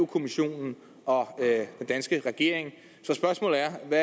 kommissionen og den danske regering så spørgsmålet er hvad